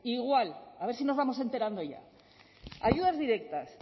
igual a ver si nos vamos enterando ya ayudas directas